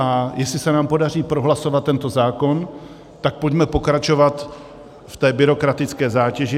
A jestli se nám podaří prohlasovat tento zákon, tak pojďme pokračovat v té byrokratické zátěži.